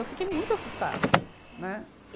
Eu fiquei muito assustada, né.